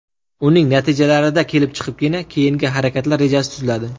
Uning natijalarida kelib chiqibgina keyingi harakatlar rejasi tuziladi.